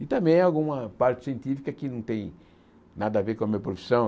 E também alguma parte científica que não tem nada a ver com a minha profissão.